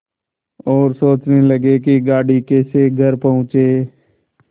और सोचने लगे कि गाड़ी कैसे घर पहुँचे